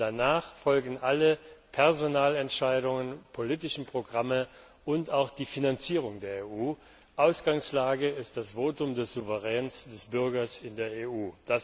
Danach folgen alle Personalentscheidungen, politischen Programme und auch die Finanzierung der EU. Ausgangslage ist das Votum des Souveräns, des Bürgers in der